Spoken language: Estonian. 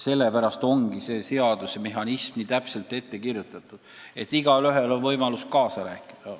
Seaduse mehhanismi on täpselt sisse kirjutatud, et igaühel on võimalus kaasa rääkida.